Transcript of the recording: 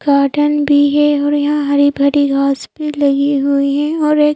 garden भी है और यहां हरी भरी घास पे लगी हुई है और एक--